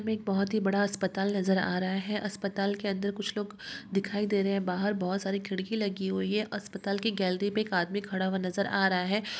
एक बहोत ही बड़ा अस्पताल नजर आ रहा है अस्पताल के अंदर कुछ लोग दिखाई दे रहे है बाहर बोट सारी खिड़की लगी हुई है अस्पताल की गेलेरी मे एक आदमी खड़ा हुआ नजर आ रहा है।